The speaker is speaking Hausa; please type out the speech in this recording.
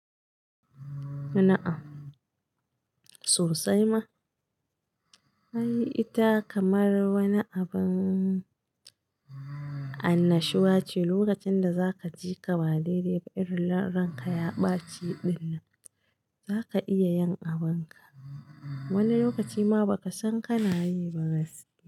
Na'am, sosai ma. Ai ita kamar wani abin annashuwa ce. Lokacin da zaka ji ka ba daidai ba irin ranka ya ɓaci dinnan, zaka iya yin abin ka. Wani lokaci ma ba ka san kana yi ba gaskiya.